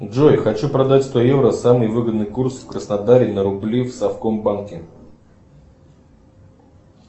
джой хочу продать сто евро самый выгодный курс в краснодаре на рубли в совкомбанке